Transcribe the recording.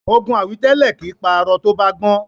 Ogun àwítẹ́lẹ̀ kìí pa arọ tó bá gbọ́n.